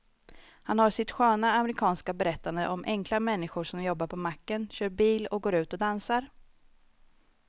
Han har sitt sköna amerikanska berättande om enkla människor som jobbar på macken, kör bil och går ut och dansar.